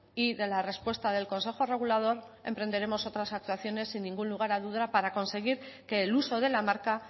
y de la respuesta del consejo regulador emprenderemos otras actuaciones sin ningún lugar a dudas para conseguir que el uso de la marca